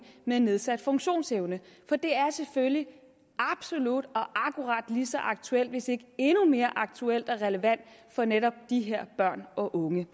med nedsat funktionsevne for det er selvfølgelig absolut og akkurat lige så aktuelt hvis ikke endnu mere aktuelt og relevant for netop de her børn og unge